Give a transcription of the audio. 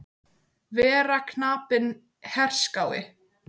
Vera knapinn herskái.